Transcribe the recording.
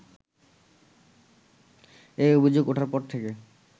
এই অভিযোগ ওঠার পর থেকে